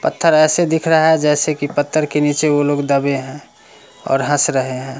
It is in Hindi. पत्थर ऐसे दिख रहा है जैसे की पत्थर के नीचे वो लोग दबे है और हंस रहे है।